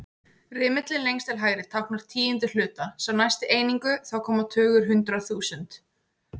Rimillinn lengst til hægri táknar tíundu hluta, sá næsti einingu, þá koma tugur, hundrað, þúsund.